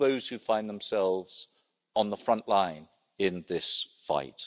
All those who find themselves on the front line in this fight.